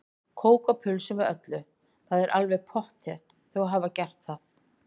Kók og pulsu með öllu, það er alveg pottþétt, þau hafa gert það.